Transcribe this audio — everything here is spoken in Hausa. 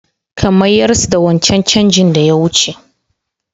Ka mayars da wancan changin da ya wuce!